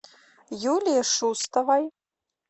юлии шустовой